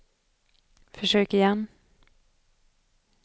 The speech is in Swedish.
försök igen